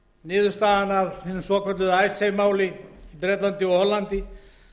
niðurstaðan af hinu svokallaða icesave máli í bretlandi og hollandi